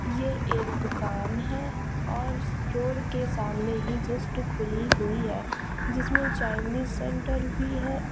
ये एक दुकान है और रोड के सामने ही जस्ट खुली हुई है जिसमें चाइनीस सेंटर भी है।